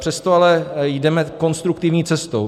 Přesto ale jdeme konstruktivní cestou.